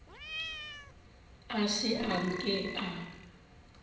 a se a nke a